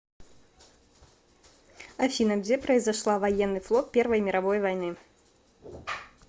афина где произошла военный флот первой мировой войны